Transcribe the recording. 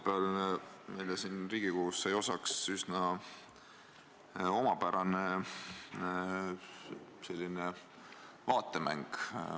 Esmaspäeval sai meile Riigikogus osaks üsna omapärane vaatemäng.